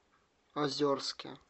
озерске